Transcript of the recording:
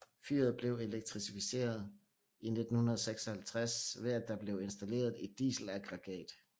Fyret blev elektrificeret i 1956 ved at der blev installeret et dieselaggregat